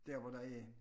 Der hvor der er